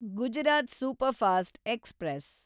Gujarat superfast express